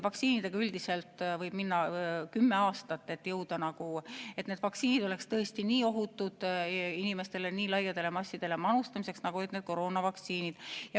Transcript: Vaktsiinidega üldiselt võib minna kümme aastat, et jõuda tulemuseni, et need oleks tõesti ohutud nii laiadele massidele manustamiseks, nagu koroonavaktsiinide puhul oli.